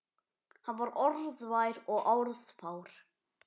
Hann var orðvar og orðfár.